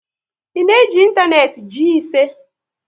I na eji ịntanetị Gii ise?